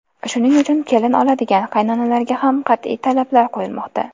Shuning uchun kelin oladigan qaynonalarga ham qat’iy talablar qo‘yilmoqda.